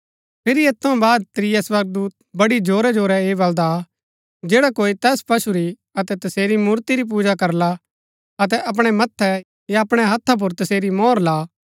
फिरी ऐत थऊँ बाद त्रिया स्वर्गदूत बड़ी जोरै जोरै ऐह बलदा आ जैडा कोई तैस पशु री अतै तसेरी मूर्ति री पूजा करला अतै अपणै मथ्थै या अपणै हत्था पुर तसेरी मोहर ला